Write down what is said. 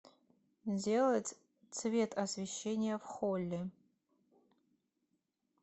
сделать цвет освещение в холле